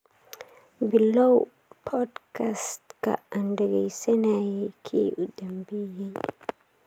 Bilow podcast-ka aan dhageysanayay kii u dambeeyay